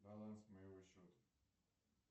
баланс моего счета